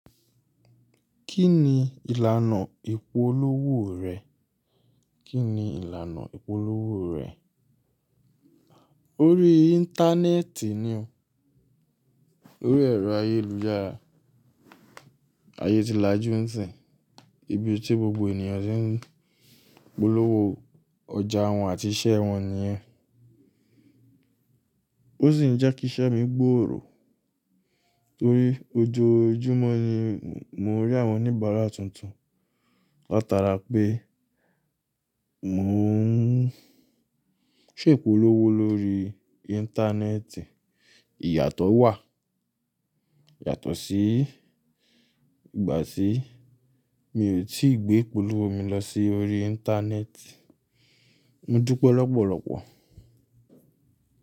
Kí ni ìlànà ìpolówó rẹ? Kí ni ìlànà ìpolówó rẹ? Orí Íńtánẹ́ẹ̀tì ni o. Orí ẹ̀rọ ayélujára. Ayé ti lajú ń sìn, ibi tí gbogbo ènìyàn tí ń polówó ọjà wọn àti iṣẹ́ wọn nìyẹn. Ó sì ń jẹ́ kí iṣẹ́ mi gbòòrò torí ojoojúmọ́ ni mo rí àwọn oníbàárà tuntun. Lat'ara pé mò ń ṣe ìpolówó lórí Íńtánẹ́ẹ̀tì. Ìyàtọ̀ wà yàtọ̀ sí ìgbà tí mi ò tí gbé ìpolówó mi lọ sí orí Íńtánẹ́ẹ̀tì. Mo dúpẹ́ lọ́pọ̀lọpọ̀.